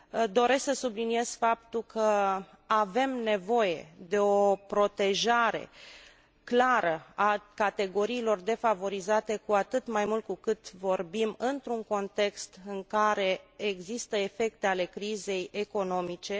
Doresc să subliniez faptul că avem nevoie de o protejare clară a categoriilor defavorizate, cu atât mai mult cu cât vorbim într un context în care există efecte ale crizei economice.